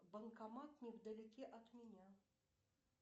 банкомат невдалеке от меня